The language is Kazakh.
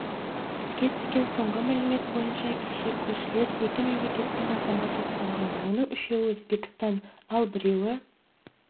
бізге түскен соңғы мәлімет бойынша кеше көршілес екі мемлекеттің азаматы ұсталған оның үшеуі өзбекстан ал біреуі